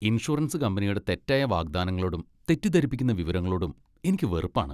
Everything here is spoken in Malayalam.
ഇൻഷുറൻസ് കമ്പനിയുടെ തെറ്റായ വാഗ്ദാനങ്ങളോടും തെറ്റിദ്ധരിപ്പിക്കുന്ന വിവരങ്ങളോടും എനിക്ക് വെറുപ്പാണ്.